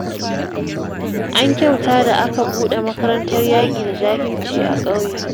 An kyauta da aka buɗe makarantar yaƙi da jahilci a ƙauyen